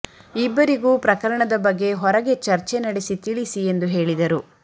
ಇಬ್ಬರಿಗೂ ಪ್ರಕರಣದ ಬಗ್ಗೆ ಹೊರಗೆ ಚರ್ಚೆ ನಡೆಸಿ ತಿಳಿಸಿ ಎಂದು ಹೇಳಿದರು